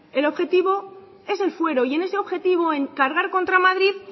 el objetivo es el fuero y en ese objetivo en cargar contra madrid